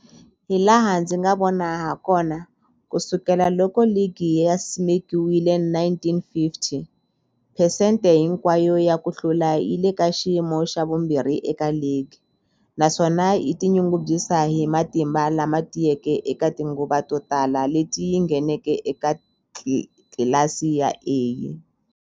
Hilaha ndzi nga vona hakona, ku sukela loko ligi yi simekiwile, 1950, phesente hinkwayo ya ku hlula yi le ka xiyimo xa vumbirhi eka ligi, naswona yi tinyungubyisa hi matimba lama tiyeke eka tinguva to tala leti yi ngheneke eka tlilasi ya A.